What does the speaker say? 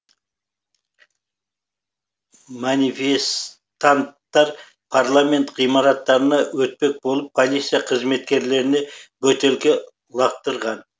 манифестанттар парламент ғимараттарына өтпек болып полиция қызметкерлеріне бөтелке лақтырған